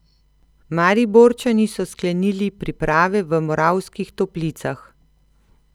Mariborčani so sklenili priprave v Moravskih Toplicah.